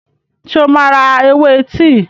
Ṣé o máa ra ewé tíì?